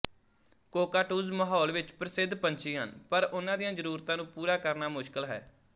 cockatoos ਮਾਹੌਲ ਵਿੱਚ ਪ੍ਰਸਿੱਧ ਪੰਛੀ ਹਨ ਪਰ ਉਨ੍ਹਾਂ ਦੀਆਂ ਜ਼ਰੂਰਤਾਂ ਨੂੰ ਪੂਰਾ ਕਰਨਾ ਮੁਸ਼ਕਲ ਹੈ